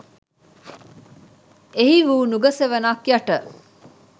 එහි වූ නුග සෙවනක් යට